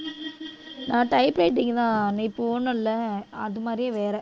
நான் typewriting தான் நீ போணும்ல அது மாதிரியே வேற